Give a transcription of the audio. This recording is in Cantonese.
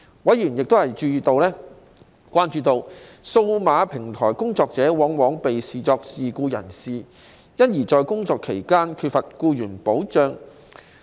委員關注到，數碼平台工作者往往被視作自僱人士，因而在工作期間缺乏僱員保障。